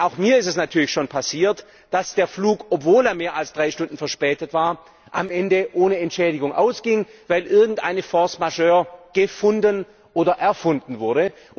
Denn auch mir ist es natürlich schon passiert, dass der Flug, obwohl er mehr als drei Stunden verspätet war, am Ende ohne Entschädigung ausging, weil irgendeine force majeure gefunden oder erfunden wurde.